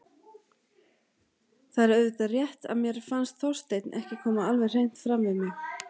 Það er auðvitað rétt að mér fannst Þorsteinn ekki koma alveg hreint fram við mig.